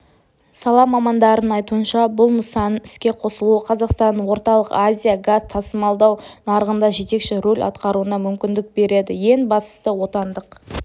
сала мамандарының айтуынша бұл нысанның іске қосылуы қазақстанның орталық азия газ тасымалдау нарығында жетекші рөл атқаруына мүмкіндік береді ең бастысы отандық